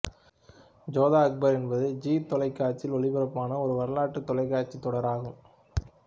ஜோதா அக்பர் என்பது ஜீ தொலைக்காட்சியில் ஒளிபரப்பான ஒரு வரலாற்றுத் தொலைக்காட்சி தொடர் ஆகும்